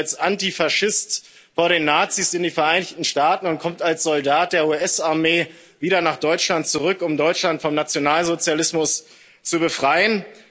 Er flieht als Antifaschist vor den Nazis in die Vereinigten Staaten und kommt als Soldat der US Armee wieder nach Deutschland zurück, um Deutschland vom Nationalsozialismus zu befreien.